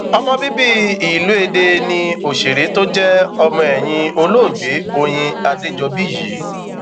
ọmọ bíbí ìlú èdè ní òṣèré tó jẹ ọmọ ẹyìn olóògbé oyin adéjọbí yìí